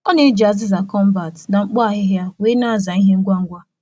Ọ na-eji mmaja na efere ájá dị nta maka nhicha ngwa ngwa n’ime ụbọchị.